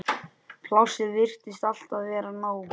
Plássið virtist alltaf vera nóg.